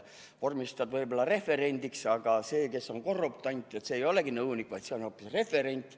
Vormistad kellegi võib-olla referendiks, aga see, kes on korruptant, see ei olegi nõunik, see on hoopis referent.